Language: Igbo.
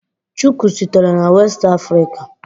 Shuku sitere na West Africa.